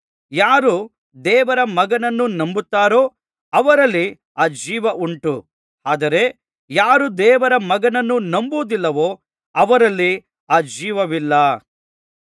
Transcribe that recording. ಯಾರು ದೇವರ ಮಗನನ್ನು ನಂಬುತ್ತಾರೋ ಅವರಲ್ಲಿ ಆ ಜೀವ ಉಂಟು ಆದರೆ ಯಾರು ದೇವರ ಮಗನನ್ನು ನಂಬುವುದಿಲ್ಲವೋ ಅವರಲ್ಲಿ ಆ ಜೀವವಿಲ್ಲ